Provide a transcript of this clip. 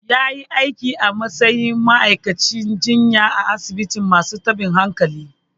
Ya yi aiki a matsayin ma'aikacin jinya a asibitin masu tabin hankali.